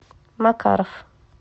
макаров